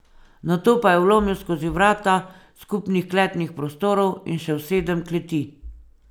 Nato pa je vlomil skozi vrata skupnih kletnih prostorov in še v sedem kleti.